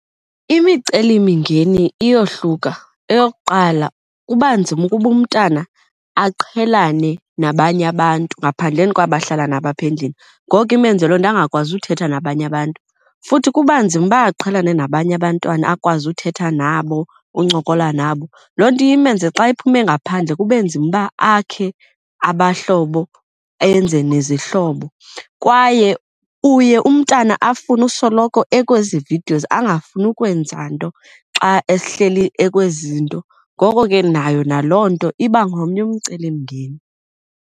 Imicelimingeni iyohluka. Eyokuqala kuba nzima ukuba umntana aqhelane nabanye abantu ngaphandleni kwabo ahlala nabo apha endlini, ngoku imenze loo nto angakwazi uthetha nabanye abantu. Futhi kuba nzima uba ukuba aqhelane nabanye abantwana akwazi uthetha nabo uncokola nabo. Loo nto iye imenze xa iphume ngaphandle kube nzima uba akhe abahlobo enze nezihlobo. Kwaye uye umntana afune usoloko ezikwezi videos angafuni ukwenza nto xa ehleli ekwezi zinto, ngoko ke nayo naloo nto iba ngomnye umcelimngeni.